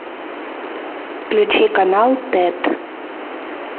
включи канал тет